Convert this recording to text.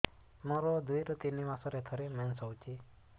ମୋର ଦୁଇରୁ ତିନି ମାସରେ ଥରେ ମେନ୍ସ ହଉଚି